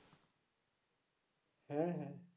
হ্যাঁ হ্যাঁ